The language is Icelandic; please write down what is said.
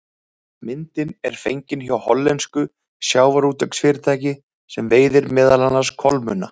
Myndin er fengin hjá hollensku sjávarútvegsfyrirtæki sem veiðir meðal annars kolmunna.